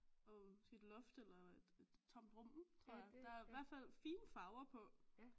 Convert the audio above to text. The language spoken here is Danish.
Og måske et loft eller et et tomt rum tror jeg der er i hvert fald fine farver på